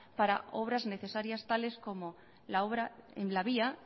para obras necesarias tales como la obra en la vía